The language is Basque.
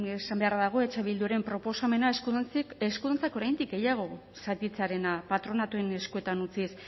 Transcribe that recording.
esan beharra dago eh bilduren proposamena eskuduntza oraindik gehiago zatitzearena patronatuen eskuetan utziz